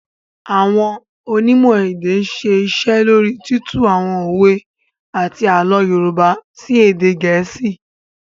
Àwọn Onímò èdè ń ṣe iṣẹ́ lóríi títú àwọn òwe àti àlọ́ Yorùbá sí èdè Geesi